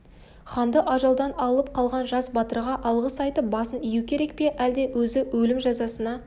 ханды ажалдан алып қалған жас батырға алғыс айтып басын ию керек пе әлде өзі өлім жазасына